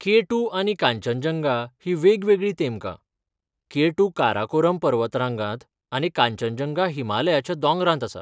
K two आनी कांचनजंगा हीं वेगवेगळीं तेमकां, के टू काराकोरम पर्वतरांगांत आनी कांचनजंगा हिमालयाच्या दोंगरांत आसा.